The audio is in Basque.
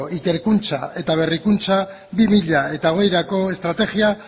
ikerkuntza eta berrikuntza bi mila hogeirako estrategia